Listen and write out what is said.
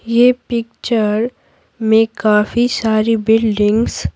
यह पिक्चर में काफी सारी बिल्डिंग्स --